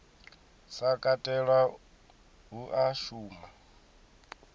sa katelwa hu a shuma